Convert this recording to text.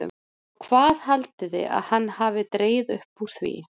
OG HVAÐ HALDIÐI AÐ HANN HAFI DREGIÐ UPP ÚR ÞVÍ?